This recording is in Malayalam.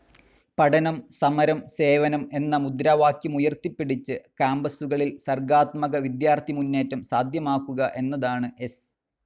പഠനം, സമരം, സേവനം എന്ന മുദ്രാവാക്യമുയർത്തിപ്പിടിച്ച് കാമ്പസുകളിൽ സർഗാത്മക വിദ്യാർഥി മുന്നേറ്റം സാധ്യമാക്കുക എന്നതാണ് എസ്.